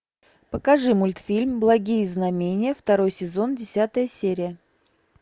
покажи мультфильм благие знамения второй сезон десятая серия